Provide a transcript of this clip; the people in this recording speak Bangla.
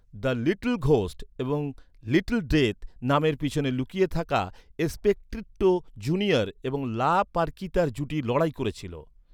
দ্য লিটল ঘোস্ট' এবং 'লিটল ডেথ' নামের পেছনে লুকিয়ে এস্পেকট্রিটো জুনিয়র এবং লা পারকিতার জুটি লড়াই করেছিল।